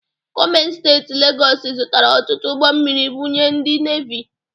Gọọmenti Steeti Legọọsụ zụtara ọtụtụ ụgbọ mmiri bunye ndị Nevi.